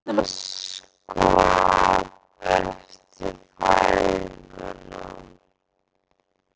Sama máli gegnir um tvöföldun litningamengja.